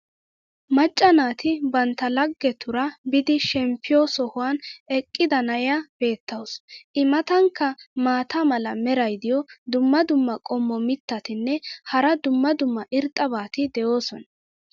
macca naati bantta lagetuura biidi shemppiyo sohuwan eqqida na'iya beetawusu. i matankka maata mala meray diyo dumma dumma qommo mitattinne hara dumma dumma irxxabati de'oosona.